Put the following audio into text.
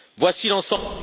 Voici l'ensemble